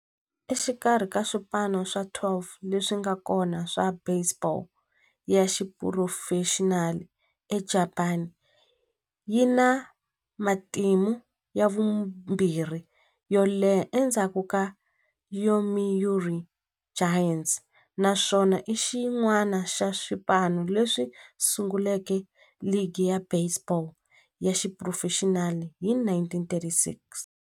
Exikarhi ka swipano swa 12 leswi nga kona swa baseball ya xiphurofexinali eJapani, yi na matimu ya vumbirhi yo leha endzhaku ka Yomiuri Giants, naswona i xin'wana xa swipano leswi sunguleke ligi ya baseball ya xiphurofexinali hi 1936.